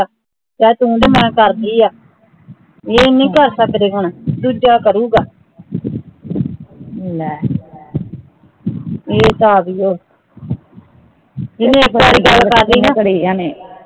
ਮੈਂ ਕਰਲੀ ਹਾ ਇਹ ਨਹੀਂ ਕਰ ਸਕਦੇ ਹੁਣ ਦੂਜਾ ਕਰੂਗਾ